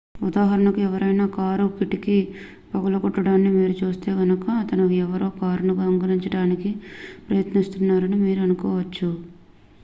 ఉదాహరణకు ఎవరైనా కారు కిటికీ పగలగొట్టడాన్ని మీరు చూస్తే గనుక అతను ఎవరో కారును దొంగిలించడానికి ప్రయత్నిస్తున్నాడని మీరు అనుకోవచ్చు